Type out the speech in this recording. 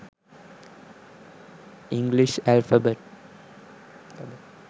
english alphabet